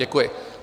Děkuji.